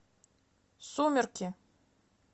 сумерки